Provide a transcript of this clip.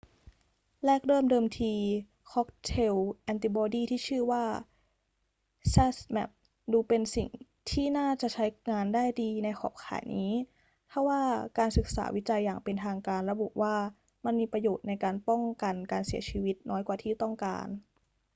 แรกเริ่มเดิมที ค็อกเทลแอนติบอดีที่ชื่อว่า zmapp ดูเป็นสิ่งที่น่าจะใช้งานได้ดีในขอบข่ายนี้ ทว่าการศึกษาวิจัยอย่างเป็นทางการระบุว่ามันมีประโยชน์ในการป้องกันการเสียชีวิตน้อยกว่าที่ต้องการ